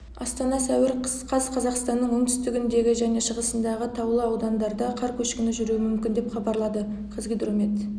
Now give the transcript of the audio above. астана сәуір қаз қазақстанның оңтүстігіндегі және шығысындағы таулы аудандарда қар көшкіні жүруі мүмкін деп хабарлады қазгидромет